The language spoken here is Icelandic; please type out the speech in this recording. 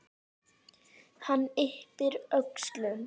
Hann yppir öxlum.